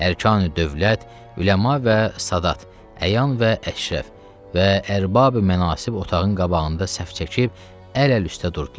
Ərkani dövlət, Üləma və Sadat, Əyan və Əşrəf və Ərbabi mənasib otağın qabağında səf çəkib əl əl üstə durdular.